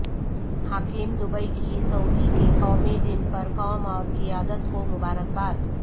حاکم دبئی کی سعودی کے قومی دن پر قوم اور قیادت کو مبارک باد